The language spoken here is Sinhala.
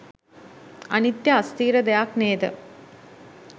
අනිත්‍ය අස්ථිර දෙයක් නේද?